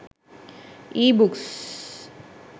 ebooks